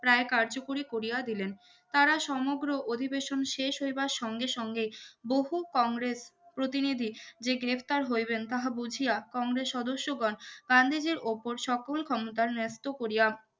প্রায় কার্যকরী করিয়া দিলেন তারা সমগ্র অধিবেশন শেষ হইবার সঙ্গে সঙ্গে বহু কংগ্রেস প্রতিনিধি যে গ্রেপ্তার হইবেন তাহা বুঝিয়া কংগ্রেস সদস্যগণ গান্ধীজীর উপর সকল ক্ষমতার ন্যাস্ত করিয়া